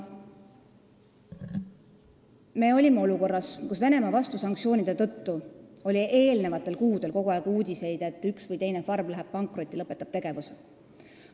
Me olime olukorras, kus Venemaa vastusanktsioonide tõttu oli eelnevatel kuudel kogu aeg tulnud uudiseid, et üks või teine farm läheb pankrotti ja lõpetab tegevuse.